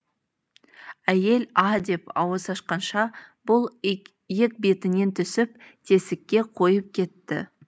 әйел а деп ауыз ашқанша бұл екбетінен түсіп тесікке қойып кетті